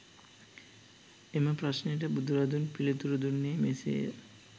එම ප්‍රශ්නයට බුදුරදුන් පිළිතුරු දුන්නේ මෙසේය